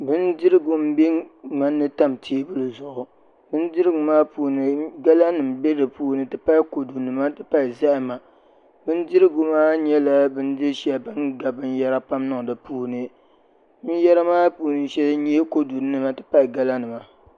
Bindirigu n bɛ ŋmanni tam teebuli zuɣu bindirigu maa puuni gala nim bɛ dinni n ti pahi n ti pahi kodu nima n ti pahi zahama bindirigu maa nyɛla bindiri shɛli bin gabi binyɛra pam niŋ di puuni binyɛra maa shɛli n nyɛ kodu nima n ti pahi gala nima